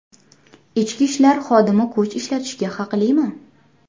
Ichki ishlar xodimi kuch ishlatishga haqlimi?.